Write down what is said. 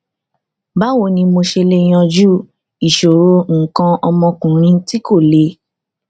báwo ni mo ṣe lè yanjú ìṣòro nǹkan ọmọkùnrin tí kò le